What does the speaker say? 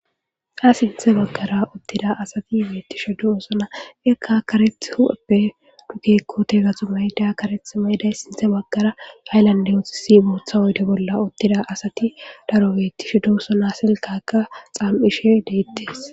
Ha sinthe bagara utida asati betishe dosona. Ika karetha hu'eppe pude karetha mayidays sinthe bagara haylanden sinthe bagara bootha oyde bolla utida asat daro betishe dosona , etappeka issoy daro betishe dosona, silkaka xam'ishe detes.